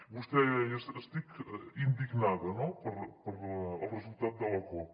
vostè deia estic indignada no pel resultat de la cop